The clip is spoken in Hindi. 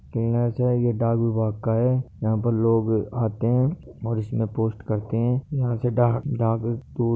किना छे यह डाक विभाग का है यहा पे लोग आते है और इसमें पोस्ट करते है यहा से डाक डाक